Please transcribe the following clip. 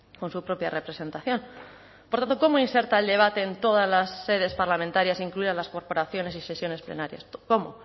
con su propia representación por tanto cómo inserta el debate en todas las sedes parlamentarias incluidas las corporaciones y sesiones plenarias cómo